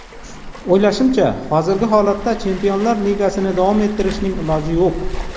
O‘ylashimcha, hozirgi holatda Chempionlar Ligasini davom ettirishning iloji yo‘q.